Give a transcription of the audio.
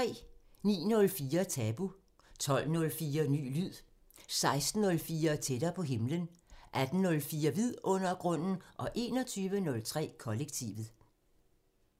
09:04: Tabu 12:04: Ny lyd 16:04: Tættere på himlen 18:04: Vidundergrunden 21:03: Kollektivet